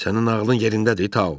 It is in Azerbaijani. Sənin ağlın yerindədir Tao.